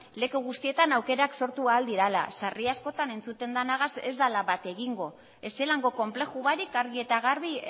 leku guztietan aukerak sortu ahal direla sarri askotan entzuten danagaz ez dela bat egingo ez zelango konplejubarik argi eta garbi